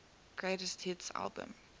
greatest hits album